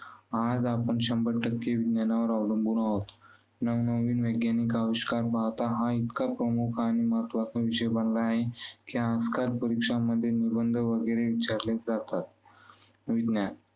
आज आपण शंभर टक्के विज्ञानावर अवलंबून आहोत. नवनवीन वैज्ञानिक अविष्कार पाहाता, हा इतका प्रमुख आणि महत्त्वाचा विषय बनला आहे की आजकाल परीक्षांध्ये निबंधवगैरे विचारलेच जातात. विज्ञान